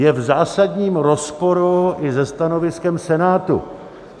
Je v zásadním rozporu i se stanoviskem Senátu.